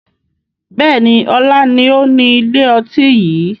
Bẹ́ẹ̀ni, ọlá ni ó ni ilé ọtí yìí